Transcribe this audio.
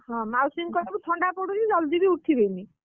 ହଁ ମାଉସୀଙ୍କୁ କହିବୁ ଥଣ୍ଡା ପଡୁଛି ଜଲଦି ବି ଉଠିବେନି ।